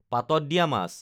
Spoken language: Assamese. পাতত দিয়া মাছ